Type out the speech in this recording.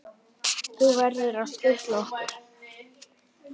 Þú verður að skutla okkur.